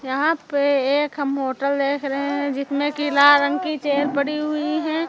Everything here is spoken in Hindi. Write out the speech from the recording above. यहाँ पे एक हम होटल देख रहे हैं जिसमें कि लाल रंग की चेयर पड़ी हुई हैं।